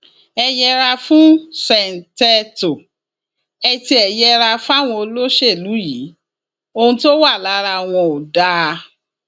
ẹ yẹra fún ṣèǹtẹtò ẹ tiẹ yẹra fáwọn olóṣèlú yìí ohun tó wà lára wọn ò dáa